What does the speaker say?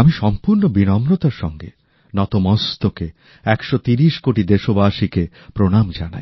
আমি সম্পুর্ণ বিনম্রতার সঙ্গে নত মস্তকে একশো তিরিশ কোটি দেশবাসীকে প্রণাম জানাই